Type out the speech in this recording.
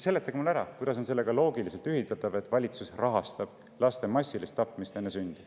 Seletage mulle ära, kuidas on sellega loogiliselt ühildatav see, et valitsus rahastab laste massilist tapmist enne sündi.